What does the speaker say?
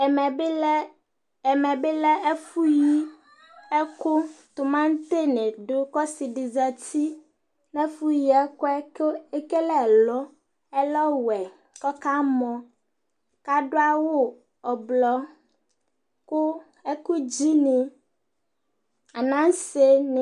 ɛmɛ bi lɛ ɛfu yi ɛkò tomati ni do kò ɔse di zati n'ɛfu yi ɛkoɛ kò ekele ɛlu ɛlɔ wɛ k'ɔka mɔ k'ado awu ublɔ kò ɛkòdzi ni anase ni